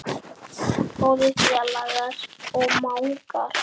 Góðir félagar og mágar.